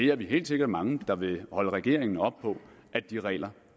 er helt sikkert mange der vil holde regeringen op på at de regler